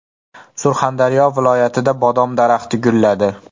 Surxondaryo viloyatida bodom daraxti gulladi.